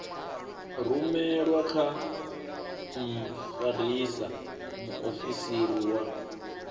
rumelwe kha mfarisa muofisiri wa